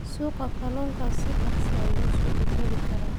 Suuqa kalluunka si dhakhso ah ayuu isu beddeli karaa.